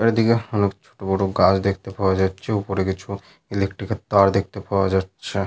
আর ওদিকে অনেক ছোট বড় গাছ দেখতে পাওয়া যাচ্ছে। ওপরে কিছু ইলেকট্রিক এর তার দেখতে পাওয়া যাচ্ছে।